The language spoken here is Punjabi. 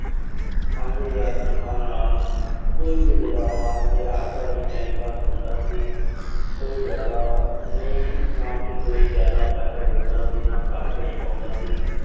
ਪੰਜ ਹਜ਼ਾਰ ਤਨਖਾਹ ਨਾਲ ਕੋਈ ਵੀ ਗੁਜ਼ਾਰਾ, ਮੇਰਾ ਅਬਦਾ ਹੀ time pass ਹੁੰਦਾ ਸੀ। ਕੋਈ ਜ਼ਿਆਦਾ ਨਈਂ। ਨਾ ਕਿ ਕੋਈ ਜ਼ਿਆਦਾ ਪੈਸਾ ਜੁੜਦਾ ਸੀ, ਨਾ ਘਰ ਭੇਜ ਪਾਉਂਦਾ ਸੀ।